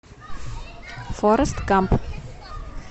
форрест гамп